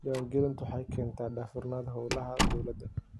Diiwaangelintu waxay keentaa daahfurnaanta hawlaha dawladda.